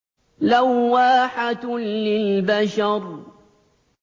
لَوَّاحَةٌ لِّلْبَشَرِ